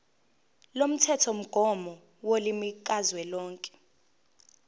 lomthethomgomo wolimi kazwelonke